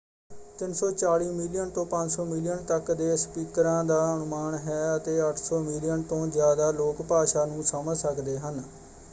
340 million ਤੋਂ 500 million ਤੱਕ ਦੇ ਸਪੀਕਰਾਂ ਦਾ ਅਨੁਮਾਨ ਹੈ ਅਤੇ 800 ਮਿਲੀਅਨ ਤੋਂ ਜ਼ਿਆਦਾ ਲੋਕ ਭਾਸ਼ਾ ਨੂੰ ਸਮਝ ਸਕਦੇ ਹਨ।